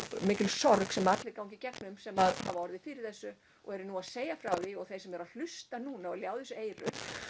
mikil sorg sem allir ganga í gegnum sem hafa orðið fyrir þessu og eru nú að segja frá því og þeir sem eru að hlusta núna og ljá þessu eyru